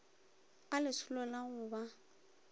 a lesolo ya go ba